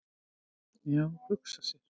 """Já, hugsa sér!"""